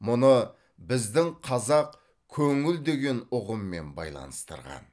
мұны біздің қазақ көңіл деген ұғыммен байланыстырған